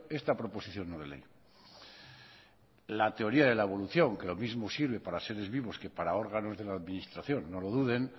esta proposición no de ley la teoría de la evolución que lo mismo sirve para seres vivos que para órganos de la administración no lo duden